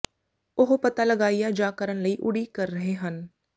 ਉਹ ਪਤਾ ਲਗਾਇਆ ਜਾ ਕਰਨ ਲਈ ਉਡੀਕ ਕਰ ਰਹੇ ਹਨ